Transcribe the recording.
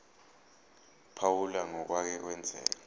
phawula ngokwake kwenzeka